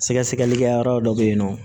Sɛgɛsɛgɛlikɛyɔrɔ dɔ bɛ yen nɔ